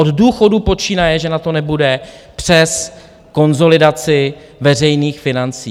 Od důchodů počínaje, že na to nebude, přes konsolidaci veřejných financí.